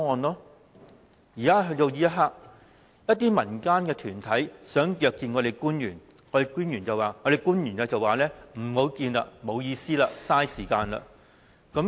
到了目前，一些民間團體想約見官員，官員說不會見面，沒有意思，浪費時間。